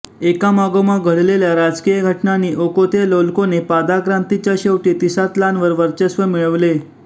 एकामागोमाग घडलेल्या राजकीय घटनांनी ओकोतेलोल्कोने पादाक्रांतीच्या शेवटी तिसात्लानवर वर्चस्व मिळविले